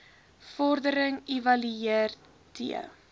vordering evalueer t